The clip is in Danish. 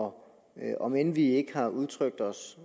om end om end vi ikke har udtrykt os